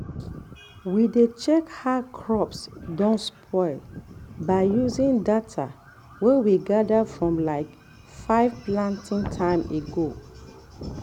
we dey check how crops don spoil by using data wey we gather from like five planting time back.